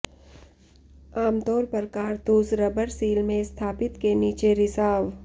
आमतौर पर कारतूस रबर सील में स्थापित के नीचे रिसाव